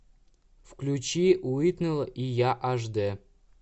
включи уитнэйл и я аш д